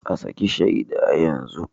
A saki shaida yanzu